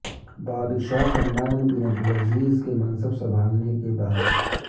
بادشاہ Salman bin Abdulaziz کے منصب سنبھالنے کے بعد